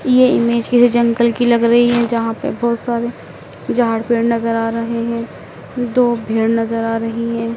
यह इमेज किसी जंगल की लग रही है। जहां पे बहोत सारे झाड़-पेड़ नजर आ रहे हैं। दो भेड़ नजर आ रही है।